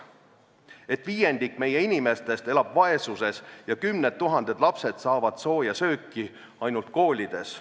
Samuti sellest, et viiendik meie inimestest elab vaesuses ja kümned tuhanded lapsed saavad sooja sööki ainult koolides.